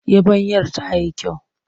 Yabanyar ta yi kyau.